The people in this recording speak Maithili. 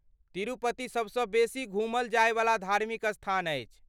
तिरुपति सबसँ बेसी घूमल जायवला धार्मिक स्थान अछि?